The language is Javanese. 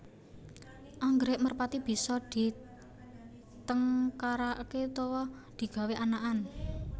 Anggrèk merpati bisa ditengkaraké utawa digawé anakan